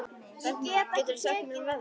Vilhelmína, hvað geturðu sagt mér um veðrið?